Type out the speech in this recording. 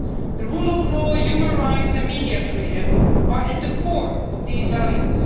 The rule of law, human rights and media freedom are at the core of these values.